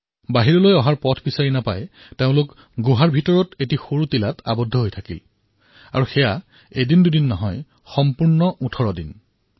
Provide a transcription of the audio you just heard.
ওলোৱাৰ কোনো পথ বিচাৰি নোপোৱাত তেওঁলোকে গুহাৰ ভিতৰৰ এটা সৰু টিলাত ৰৈ গলতাকো এদিন দুদিনৰ বাবে নহয় সম্পূৰ্ণ ১৮ দিনলৈ